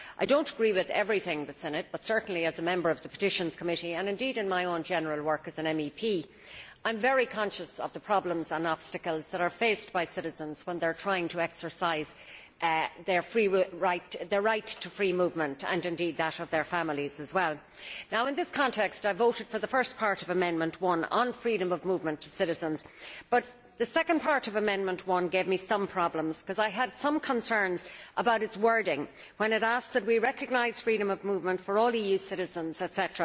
I do not agree with everything that is in it but certainly, as a member of the Committee on Petitions and indeed in my own general work as an MEP, I am very conscious of the problems and obstacles that are faced by citizens when they are trying to exercise their right to free movement and indeed that of their families as well. Now in this context I voted for the first part of Amendment 1 on freedom of movement for citizens but the second part of Amendment 1 gave me some problems because I had some concerns about its wording when it asked that we recognise freedom of movement for all EU citizens, etc.